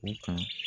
O kan